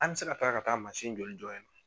An bɛ se ka taga ka taa mansin joli jɔ yen nɔ?